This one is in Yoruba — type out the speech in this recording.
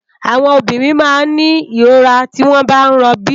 Áwòn òbìrín má n ni irórá tiwòn bá n ròbí